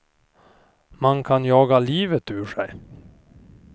Man kan jaga livet ur sig.